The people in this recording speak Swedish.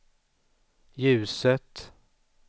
ljuset